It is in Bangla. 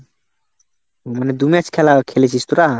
মানে দু match খেলা খেলেছিস তোরা?